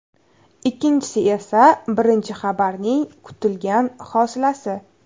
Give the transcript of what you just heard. Ikkinchisi esa birinchi xabarning kutilgan hosilasi.